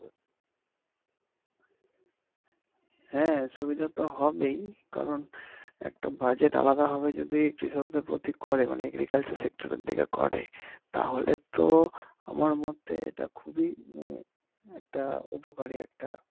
হ্যাঁ সুবিধাতো হবেই কারন একটা বাজেট আলাদা হবে যদি কৃষক দের প্রতি করে মানে agricultural sector এর দিকে করে তাহলে তো আমার মতে এইটা খুবই একটা উপকারি একটা